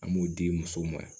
An b'o di musow ma